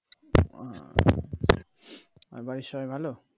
আর বাড়ির সবাই ভালো?